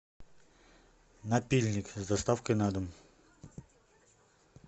напильник с доставкой на дом